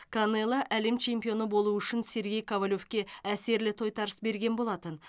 канело әлем чемпионы болу үшін сергей ковалевке әсерлі тойтарыс берген болатын